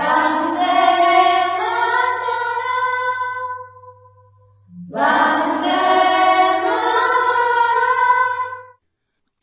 ವಂದೇಮಾತರಂ ವಂದೇಮಾತರಂ